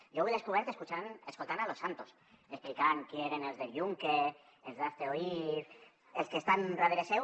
jo ho he descobert escoltant losantos explicant qui eren els del yunque els d’hazte oír els que estan darrere seu